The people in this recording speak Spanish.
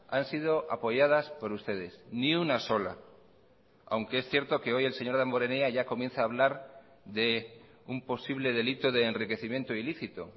han sido apoyadas por ustedes ni una sola aunque es cierto que hoy el señor damborenea ya comienza a hablar de un posible delito de enriquecimiento ilícito